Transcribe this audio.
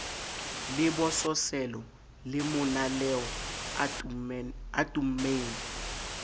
lebososelo le monaleo a tummeng